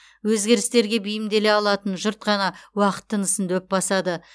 өзгерістерге бейімделе алатын жұрт қана уақыт тынысын дөп басады